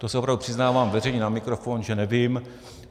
To se opravdu přiznávám veřejně na mikrofon, že nevím.